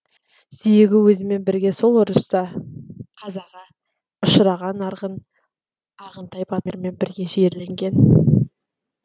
сүйегі өзімен бірге сол ұрыста қазаға ұшыраған арғын ағынтай батырмен бірге жерленген